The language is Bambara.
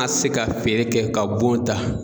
an se ka feere kɛ ka bon ta.